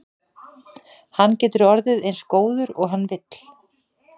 Hann getur orðið eins góður og hann vill.